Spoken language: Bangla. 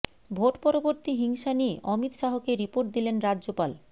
ভোট পরবর্তী হিংসা নিয়ে অমিত শাহকে রিপোর্ট দিলেন রাজ্যপাল